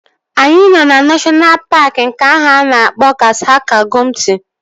Anyị nọ na neshọna paaki nke ahụ a na-akpọ Gashaka-Gumti